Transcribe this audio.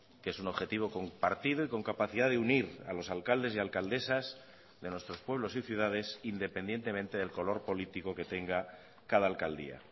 que es un objetivo compartido y con capacidad de unir a los alcaldes y alcaldesas de nuestros pueblos y ciudades independientemente del color político que tenga cada alcaldía